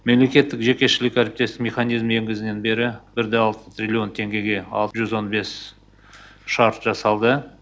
мемлекеттік жекешілік әріптестік механизмін енгізгелі бері бір да алты трилллион теңгеге жүз он бес шарт жасалды